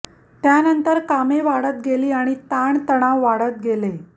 त्यानंतर कामे वाढत गेली आणि ताण तणाव वाढत गेले